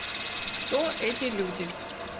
кто эти люди